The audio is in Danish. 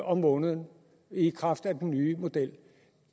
om måneden i kraft af den nye model